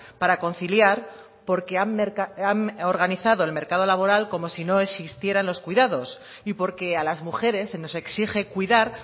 para conciliar porque han organizado el mercado laboral como si no existieran los cuidados y porque a las mujeres se nos exige cuidar